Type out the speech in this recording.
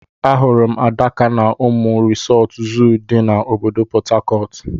Ahụrụ m Adaka na Omu Resort Zoo di na obodo portharcourt.